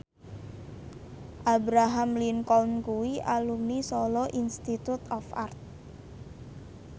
Abraham Lincoln kuwi alumni Solo Institute of Art